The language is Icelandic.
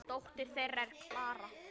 Dóttir þeirra er Klara.